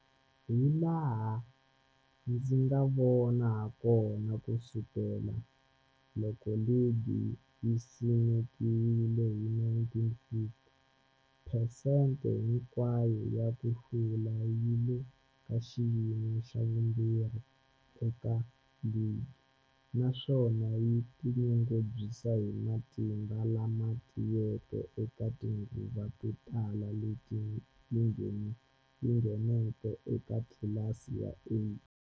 Hilaha ndzi nga vona hakona, ku sukela loko ligi yi simekiwile, 1950, phesente hinkwayo ya ku hlula yi le ka xiyimo xa vumbirhi eka ligi, naswona yi tinyungubyisa hi matimba lama tiyeke eka tinguva to tala leti yi ngheneke eka tlilasi ya A.